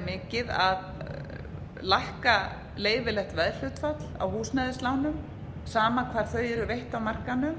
mikið að lækka leyfilegt veðhlutfall á húsnæðislánum sama hvar þau eru veitt á markaðnum